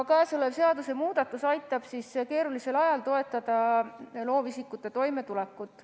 Käesolev seadusemuudatus aitab keerulisel ajal toetada loovisikute toimetulekut.